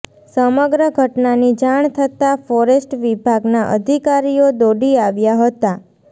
સમગ્ર ઘટનાની જાણ થતાં ફોરેસ્ટ વિભાગના અધિકારીઓ દોડી આવ્યા હતા